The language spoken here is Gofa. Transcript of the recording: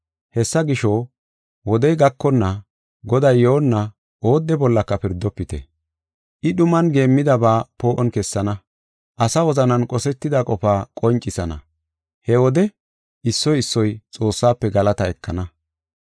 Hessa gisho, wodey gakonna, Goday yoonna oodde bollaka pirdofite. I dhuman geemmidaba poo7on kessenna; asa wozanan qosetida qofa qoncisana. He wode, issoy issoy Xoossafe galataa ekana.